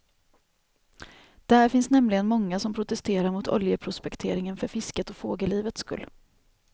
Där finns nämligen många som protesterar mot oljeprospekteringen för fiskets och fågellivets skull.